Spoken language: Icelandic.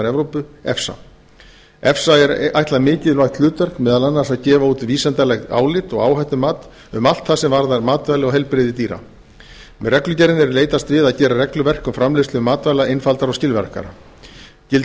evrópu efsa er ætlað mikilvægt hlutverk meðal annars að gefa út vísindaleg álit og áhættumat um allt er varðar matvæli og heilbrigði dýra með reglugerðinni er leitast við að gera regluverk um framleiðslu matvæla einfaldara og skilvirkara gildir